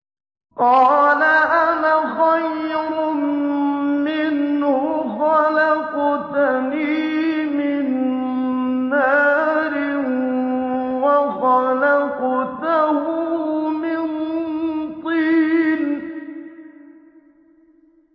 قَالَ أَنَا خَيْرٌ مِّنْهُ ۖ خَلَقْتَنِي مِن نَّارٍ وَخَلَقْتَهُ مِن طِينٍ